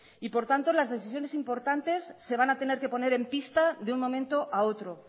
por tanto las decisiones importantes se van a tener que poner en pista de un momento a otro